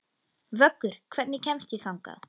Vöggur, hvernig kemst ég þangað?